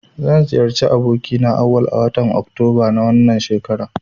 Zan ziyarci abokina Auwal a watan oktoba na wannan shekarar.